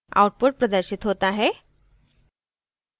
output प्रदर्शित होता हैः